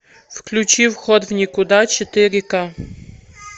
включи вход в никуда четыре ка